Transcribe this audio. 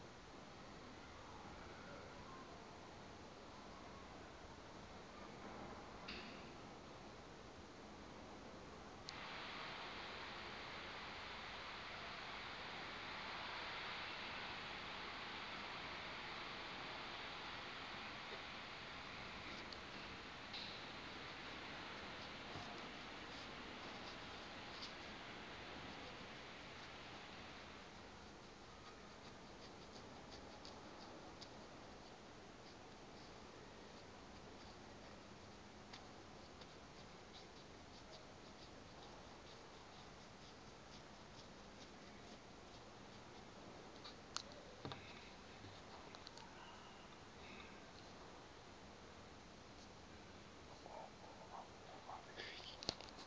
oko akuba efikile